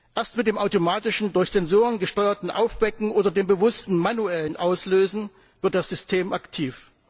Erst mit dem automatischen durch Sensoren gesteuerten Aufwecken oder dem bewussten manuellen Auslösen wird das System aktiv.